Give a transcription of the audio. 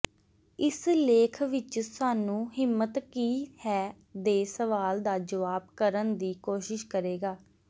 ਇਸ ਲੇਖ ਵਿਚ ਸਾਨੂੰ ਹਿੰਮਤ ਕੀ ਹੈ ਦੇ ਸਵਾਲ ਦਾ ਜਵਾਬ ਕਰਨ ਦੀ ਕੋਸ਼ਿਸ਼ ਕਰੇਗਾ